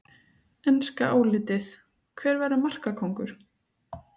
Enska álitið: Hver verður markakóngur?